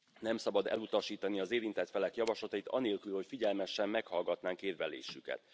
Nem szabad elutasítani az érintett felek javaslatait anélkül, hogy figyelmesen meghallgatnánk érvelésüket.